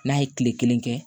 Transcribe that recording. N'a ye kile kelen kɛ